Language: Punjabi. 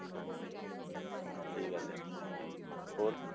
ਹਾਂਜੀ ਉਹੀ ਗੱਲ ਹੈ ਹੋਰ